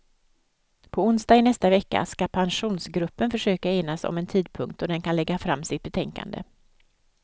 På onsdag i nästa vecka ska pensionsgruppen försöka enas om en tidpunkt då den kan lägga fram sitt betänkande.